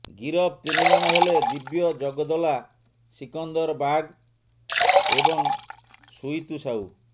ଗିରଫ ତିନି ଜଣ ହେଲେ ଦିବ୍ୟ ଜଗଦଲା ସିକନ୍ଦର ବାଘ ଏବଂ ସୁଇତୁ ସାହୁ